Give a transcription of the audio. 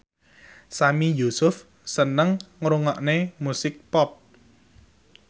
Sami Yusuf seneng ngrungokne musik pop